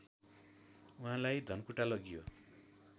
उहाँलाई धनकुटा लगियो